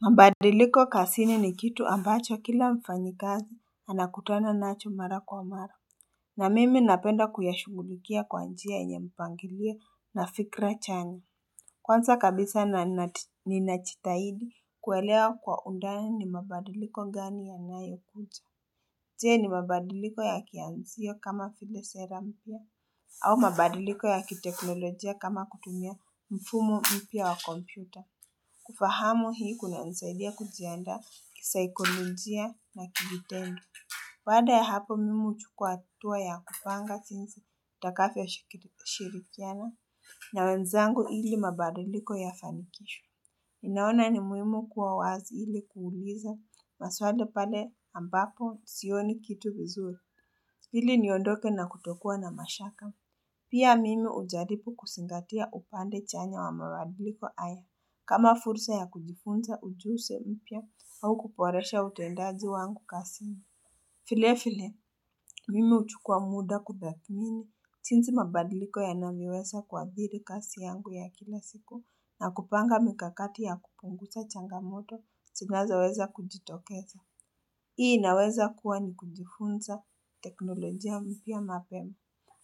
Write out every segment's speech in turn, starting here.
Mabadiliko kazini ni kitu ambacho kila mfanyikazi anakutana nacho mara kwa mara na mimi napenda kuyashungulikia kwa njia yenye mpangilio na fikra chani Kwanza kabisa ninajitahidi kuwelea kwa undani ni mabadiliko ngani yanayo kuja je ni mabadiliko ya kianzio kama vile sera mpya au mabadiliko ya kiteknolojia kama kutumia mfumo mpya wa kompyuta kufahamu hii kunanisaidia kujianda kisaikolojia na kijitendo baada ya hapo mimi huchukua hatua ya kupanga jinsi nitakavyo shirikiana na wenzangu ili mabadiliko yafanikishwe naona ni muhimu kuwa wazi ili kuuliza maswali pale ambapo sioni kitu vizuri ili niondoke na kutokuwa na mashaka Pia mimi hujaribu kuzingatia upande chanya wa mabadiliko haya kama fursa ya kujifunza ujunzi mpya au kuboresha utendaji wangu kazini. Vile vile, mimi huchukua muda kubakini. Jinsi mabadiliko ya namiweza kuwabili kasi yangu ya kila siku na kupanga mikakati ya kupungusa changamoto tinaza weza kujitokeza. Hii inaweza kuwa ni kujifunza teknolojia mpya mapema,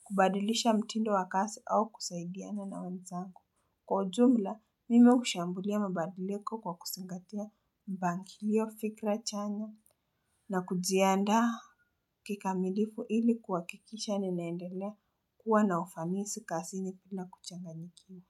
kubadilisha mtindo wakazi au kusaidiana na wenzangu. Kwa ujumla, mimi hushambulia mabadiliko kwa kuzingatia mpangilo fikra chanya na kujiaanda kikamilifu ili kuhakikisha ninaendelea kuwa na ufanisi kazini bila kuchanganyikiwa.